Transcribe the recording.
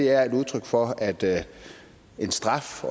er et udtryk for at den straf